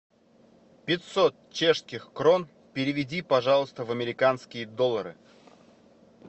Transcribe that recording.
пятьсот чешских крон переведи пожалуйста в американские доллары